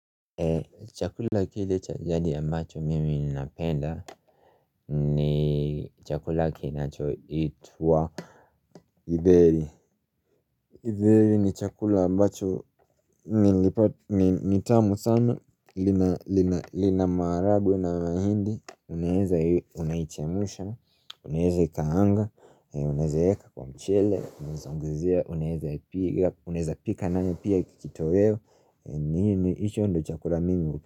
Chakula kile cha gadi ambacho mimi ninapenda ni chakula kinacho itwa githeri githeri ni chakula ambacho nitamu sana linama maharagwe na mahindi Unaweza unaichemsha, uneze kaanga, unezeeka kwa mchele, unezea ongezea, unaezea pika nanyo pia kitoweo yeo, nisho ndo chakula mimi uke.